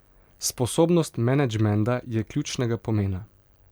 Sposobnost menedžmenta je ključnega pomena.